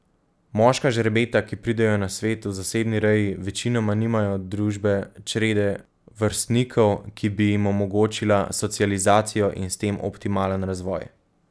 Moška žrebeta, ki pridejo na svet v zasebni reji, večinoma nimajo družbe črede vrstnikov, ki bi jim omogočila socializacijo in s tem optimalen razvoj.